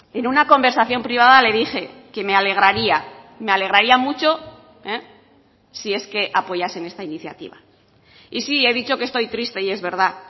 en una conversación privada le dije que me alegraría me alegraría mucho si es que apoyasen esta iniciativa y sí he dicho que estoy triste y es verdad